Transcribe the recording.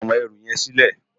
Gbé áwòn èrú yèn silè